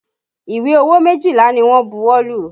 Ìwé owó méjìlá ni wọ́n bu ọwọ́ lù